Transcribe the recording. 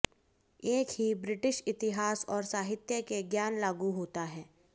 एक ही ब्रिटिश इतिहास और साहित्य के ज्ञान लागू होता है